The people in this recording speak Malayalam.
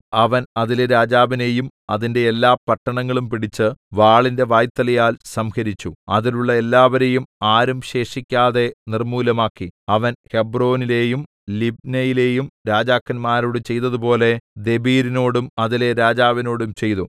അവൻ അതിലെ രാജാവിനെയും അതിന്റെ എല്ലാ പട്ടണങ്ങളും പിടിച്ച് വാളിന്റെ വായ്ത്തലയാൽ സംഹരിച്ചു അതിലുള്ള എല്ലാവരെയും ആരും ശേഷിക്കാതെ നിർമ്മൂലമാക്കി അവൻ ഹെബ്രോനിലെയും ലിബ്നയിലെയും രാജാക്കന്മാരോട് ചെയ്തതുപോലെ ദെബീരിനോടും അതിലെ രാജാവിനോടും ചെയ്തു